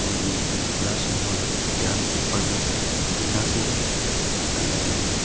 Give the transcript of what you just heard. और ये एक बड़ा सा हॉल है जहां में ऊपर में टिना से लगाया हुआ है।